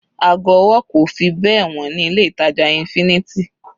Ago ọwọ́ kò fi bẹ́ẹ̀ wọ́n ní ilé ìtàjà infinity.